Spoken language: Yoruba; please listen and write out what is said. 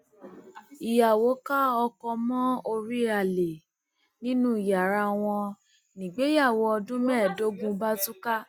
ìyàwó ká ọkọ mọ orí alẹ nínú yàrá wọn nígbéyàwó ọdún mẹẹẹdógún bá tú ká